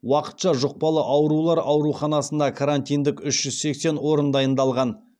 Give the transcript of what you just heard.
уақытша жұқпалы аурулар ауруханасында карантиндік үш жүз сексен орын дайындалған